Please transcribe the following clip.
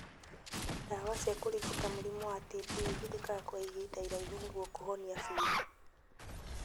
Ndawa cia kũrigita mũrimũ wa TB ihũthĩkaga kwa ihinda iraihu nĩguo kũhona biũ